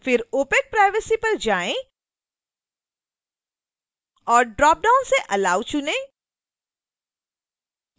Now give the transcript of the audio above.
फिर opacprivacy पर जाएँ और ड्रॉपडाउन से allow चुनें